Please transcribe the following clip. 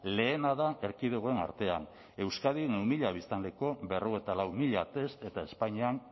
lehena da erkidegoen artean euskadin mila biztanleko berrogeita lau mila test eta espainian